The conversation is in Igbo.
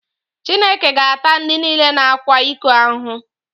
Chineke ga-ata ndị niile na-akwa iko ahụhụ.